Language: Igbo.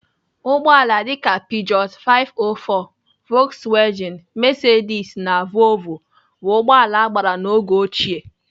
Ụgbọala dịka pijoot 504, vokswejin, mesedis na voovoo bụ ụgbọala agbara n'oge ochie.